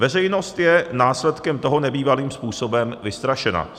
Veřejnost je následkem toho nebývalým způsobem vystrašena."